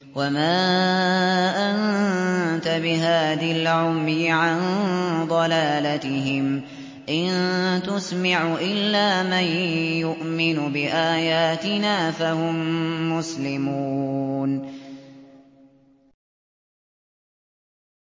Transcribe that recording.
وَمَا أَنتَ بِهَادِ الْعُمْيِ عَن ضَلَالَتِهِمْ ۖ إِن تُسْمِعُ إِلَّا مَن يُؤْمِنُ بِآيَاتِنَا فَهُم مُّسْلِمُونَ